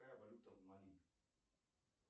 какая валюта в мали